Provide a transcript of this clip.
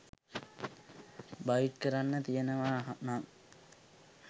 bite කරන්න තියෙනව නං